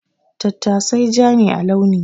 Tattasai ja ne a launi.